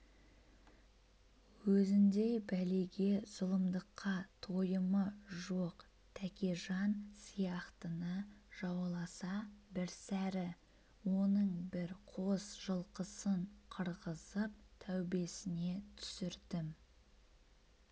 өзіндей бәлеге зұлымдыққа тойымы жоқ тәкежан сияқтыны жауласа бірсәрі оның бір қос жылқысын қырғызып тәубесіне түсірдім